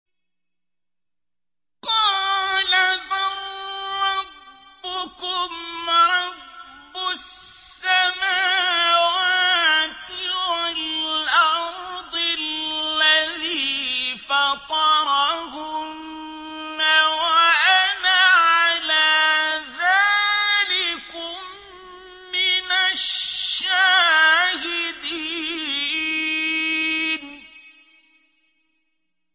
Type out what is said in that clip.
قَالَ بَل رَّبُّكُمْ رَبُّ السَّمَاوَاتِ وَالْأَرْضِ الَّذِي فَطَرَهُنَّ وَأَنَا عَلَىٰ ذَٰلِكُم مِّنَ الشَّاهِدِينَ